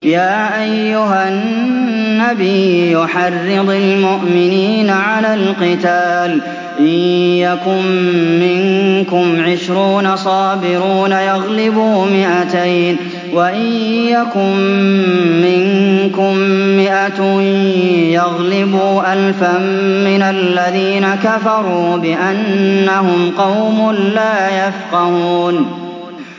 يَا أَيُّهَا النَّبِيُّ حَرِّضِ الْمُؤْمِنِينَ عَلَى الْقِتَالِ ۚ إِن يَكُن مِّنكُمْ عِشْرُونَ صَابِرُونَ يَغْلِبُوا مِائَتَيْنِ ۚ وَإِن يَكُن مِّنكُم مِّائَةٌ يَغْلِبُوا أَلْفًا مِّنَ الَّذِينَ كَفَرُوا بِأَنَّهُمْ قَوْمٌ لَّا يَفْقَهُونَ